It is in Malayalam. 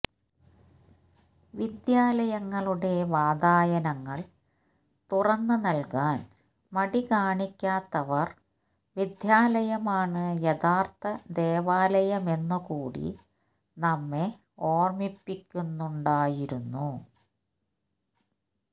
വിദ്യാലയങ്ങളുടെ വാതായനങ്ങള് തുറന്ന് നല്കാന് മടികാണിക്കാത്തവര് വിദ്യാലയമാണ് യഥാര്ത്ഥ ദേവാലയമെന്നുകൂടി നമ്മെ ഓര്മ്മിപ്പിക്കുന്നുണ്ടായിരുന്നു